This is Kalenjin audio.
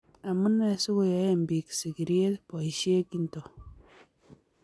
Amunee si koyoen biik sikirie boisie kinto?